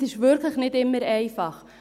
Es ist wirklich nicht immer einfach.